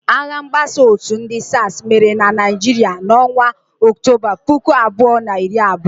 Agha mgbasa òtù ndị SARS mere na Naịjirịa n'ọnwa Ọktoba, puku abụọ na iri abụọ.